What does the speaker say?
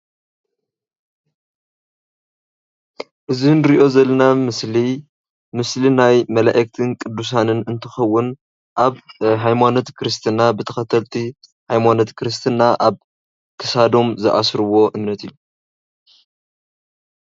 እዚ እንሪኦ ዘለና ምስሊ ምስሊናይ መላእኽትን ቅዱሳንን እንትኸውን ኣብ ሃይማኖት ክርስትና ብተኸተልቲ ሃይማኖት ክርስትና ኣብ ክሳዶም ዝኣስርዎ እምነት እዩ።